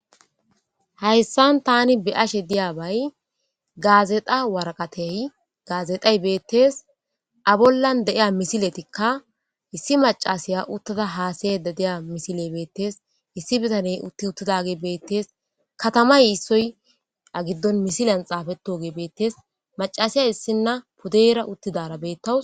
hayssan tani be ashe diyabay gaazeta waraqatey gaazexay beettees a bollan de7iya misiletikka issi macasiya uttada haasaye de deya misile beettees issi bitaney utti uttidage beettees katamay issoy a giddon misiliyan xaafetoge beettees macasiyay issinna pudeyra uttidara beettawu